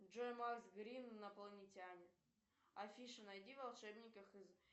джой макс грин инопланетяне афиша найди волшебников